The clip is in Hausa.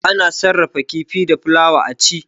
Ana sarrafa kifi da fulawa a ci.